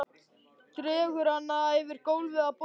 Dregur hana yfir gólfið að borðinu.